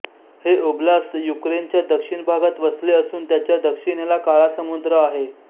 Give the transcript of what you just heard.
हे ओब्लास्त युक्रेनच्या दक्षिण भागात वसले असून त्याच्या दक्षिणेला काळा समुद्र आहे